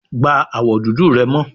Gba awọ dudu rẹ mọ